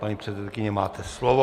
Paní předsedkyně, máte slovo.